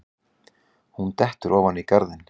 Hún dettur ofan í garðinn.